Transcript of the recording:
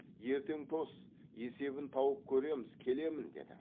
ертең тос есебін тауып көреміз келемін деді